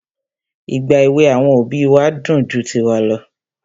Ìgbà èwè àwọn òbí wa dùn ju tiwa lọ.